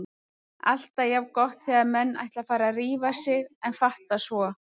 Alltaf jafn gott þegar menn ætla að fara að rífa sig en fatta svo